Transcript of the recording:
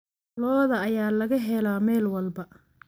Lo'da ayaa laga helaa meel walba.